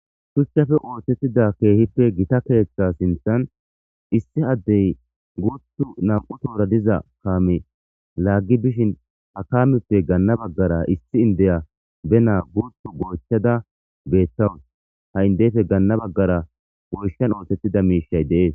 Shuchchafe oothettida keehippe gita keeththa sinthan issi addey guutu nam"u toora diza kaame laaggi bishin ha kaameppe ganna baggara issi indeya be naa guutu goychchada beethtawus ha indeyfe gaanna baggara goyshan oothettida miishay deees